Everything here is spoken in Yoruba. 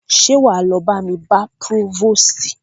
Ṣé wá lọ bá mi bá próvòstì?